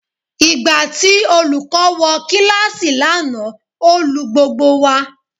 Ìgbà tí olùkọ́ wọ kíláàsì lánàá ó lu gbogbo wa.